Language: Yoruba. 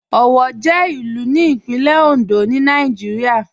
Owo jẹ ilù ní Ìpínlẹ̀ Òndó ni Nàìjírìà.